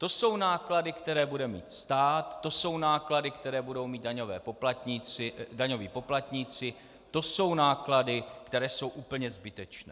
To jsou náklady, které bude mít stát, to jsou náklady, které budou mít daňoví poplatníci, to jsou náklady, které jsou úplně zbytečné.